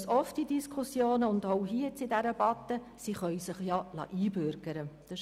Wir hören in Diskussionen oft, und auch in dieser Debatte wieder, sie könnten sich ja einbürgern lassen.